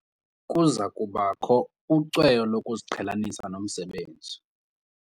Kuza kubakho ucweyo lokuziqhelanisa nomsebenzi.